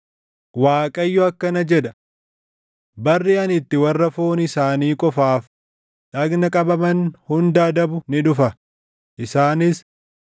Waaqayyo akkana jedha; “Barri ani itti warra foon isaanii qofaan dhagna qabaman hunda adabu ni dhufa; isaanis: